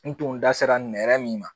N tun da sera n yɛrɛ min ma